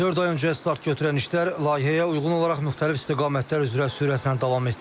Dörd ay öncə start götürən işlər layihəyə uyğun olaraq müxtəlif istiqamətlər üzrə sürətlə davam etdirilir.